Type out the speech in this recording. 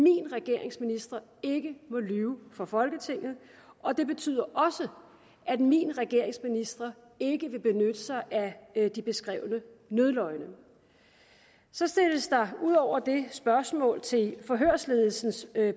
min regerings ministre ikke må lyve for folketinget og det betyder også at min regerings ministre ikke vil benytte sig af de beskrevne nødløgne så stilles der ud over det spørgsmål til forhørsledelsens